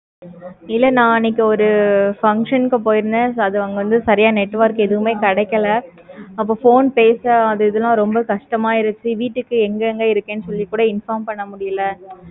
இல்ல நான் அன்னைக்கு நான் ஒரு function க்கு போயிருந்தேன். அங்க so network எதுமே சரியா கிடைக்கல. அப்போ phone பேச அந்த இதுலாம் ரொம்ப கஷ்டமா இருந்துச்சி. வீட்டுக்கு எங்க எங் இருக்கேன் சொல்லிட்டு கூட inform பண்ண முடியல.